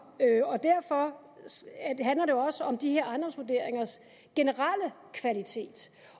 og derfor handler det også om de her ejendomsvurderingers generelle kvalitet